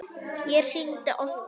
Ég hringdi oftar.